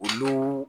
Olu